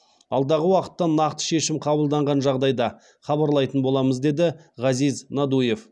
алдағы уақытта нақты шешім қабылданған жағдайда хабарлайтын боламыз деді ғазиз надуев